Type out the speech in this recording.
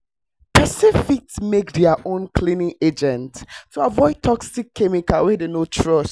person fit make their own cleaning agents to avoid toxic chemicals wey dem no trust